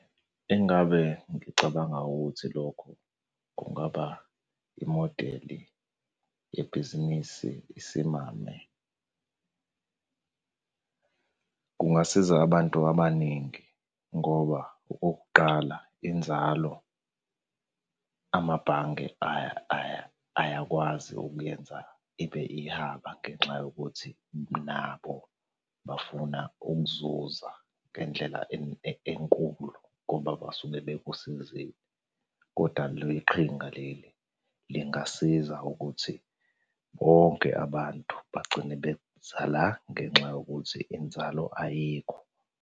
Engabe ngicabanga ukuthi lokho kungaba imodeli yebhizinisi isimame. Kungasiza abantu abaningi ngoba okokuqala, inzalo amabhange ayakwazi ukuyenza ibe ihaba ngenxa yokuthi nabo bafuna ukuzuza ngendlela enkulu ngoba basuke bekusizile, koda le qhinga leli lingasiza ukuthi bonke abantu bagcine beza la ngenxa yokuthi inzalo ayikho.